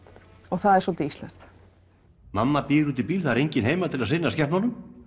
það er svolítið íslenskt mamma bíður úti í bíl það er enginn heima til þess að sinna skepnunum